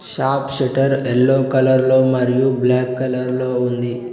Shop shutter yellow కలర్లో మరియు black కలర్లో ఉంది.